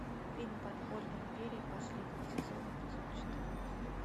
фильм подпольная империя последний сезон эпизод четырнадцать